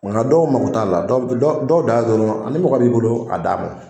wa han dɔw mako t'a la dɔw dɔw daa dɔrɔn a ni mɔgɔ b'i bolo a d'a ma